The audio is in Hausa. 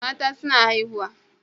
Mata suna haihu